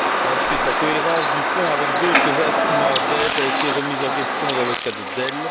Ensuite, la cohérence du Fonds avec d'autres instruments d'aide a été remise en question dans le cas de Dell.